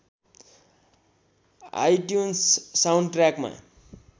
iTunes साउन्डट्र्याकमा